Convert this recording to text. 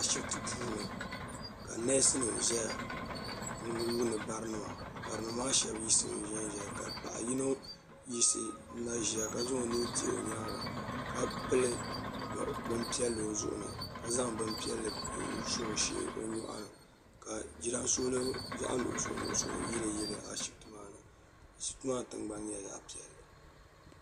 Ashipti puuni ka neesi nima ʒɛya n yuuni barinima barinima maa sheba yiɣisimi zanzaya ka paɣa yino yiɣisi n na ʒia ka zaŋ o nuhi dihi o nyaanga ka pili binpiɛlli o zuɣuni ka zaŋ bin piɛlli n so o nyɔɣuni ka jiransolo zaɣa nuɣuso nuɣuso yili yiliya ashipti maani ashipti maa tingbani nyɛla zaɣa piɛlli.